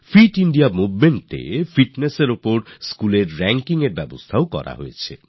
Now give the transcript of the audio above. fit India Movementএfitness নিয়ে স্কুলগুলির র্যাংকিং এর ব্যবস্থাও করা হয়েছে